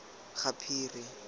gaphiri